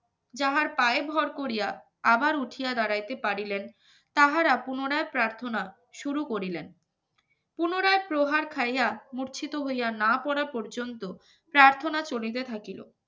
যার পায়ে ভর করিয়া আবার উঠিয়া দাঁড়াইতে পারিলেন তাহারা পুনরায় প্রার্থনা শুরু করিলেন পুনরায় প্রহার খাইয়া মরছি তো হইয়া না পরা পর্যন্ত প্রার্থনা চলিতে থাকিলো